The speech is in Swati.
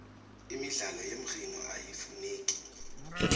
imidlalo yemridno iyafuneka